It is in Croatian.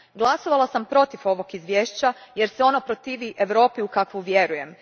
Glasovala sam protiv ovog izvješća jer se ono protivi Europi u kakvu vjerujem.